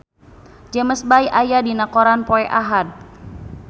James Bay aya dina koran poe Ahad